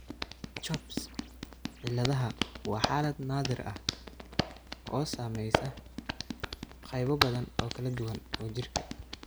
CHOPS ciladaha waa xaalad naadir ah oo saameysa qaybo badan oo kala duwan oo jirka ah.